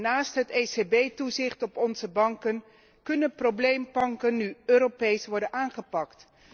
Naast het ECB toezicht op onze banken kunnen probleembanken nu Europees worden aangepakt.